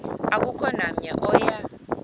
akukho namnye oya